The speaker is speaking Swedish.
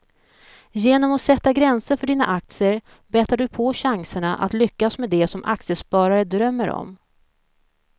Genom att sätta gränser för dina aktier bättrar du på chanserna att lyckas med det som aktiesparare drömmer om.